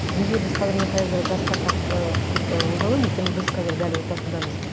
неге біз қазір мен жасқа қатысты көп і ойланамын өйткені біз қазір дәл ортасындамыз